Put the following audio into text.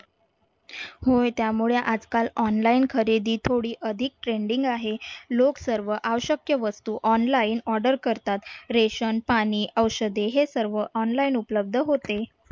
होय त्यामुळे आजकाल online खरेदी थोडी अधिक trending आहे. लोक सर्व आवश्यक्य वस्तू order करतात ration पाणी औषधे हे सर्व online उपलब्ध होते.